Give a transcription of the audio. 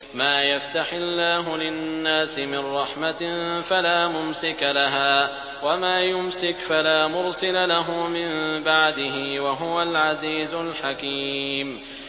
مَّا يَفْتَحِ اللَّهُ لِلنَّاسِ مِن رَّحْمَةٍ فَلَا مُمْسِكَ لَهَا ۖ وَمَا يُمْسِكْ فَلَا مُرْسِلَ لَهُ مِن بَعْدِهِ ۚ وَهُوَ الْعَزِيزُ الْحَكِيمُ